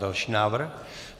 Další návrh.